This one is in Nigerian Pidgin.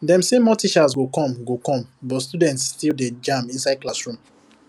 dem say more teachers go come go come but students still dey jam inside classroom